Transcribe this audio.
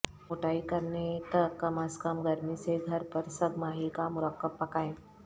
موٹائی کرنے تک کم از کم گرمی سے گھر پر سگ ماہی کا مرکب پکائیں